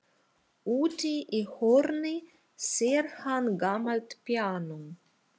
Úti í horni sér hann gamalt píanó.